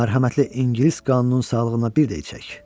Mərhəmətli İngilis qanununun sağlığına bir də içək.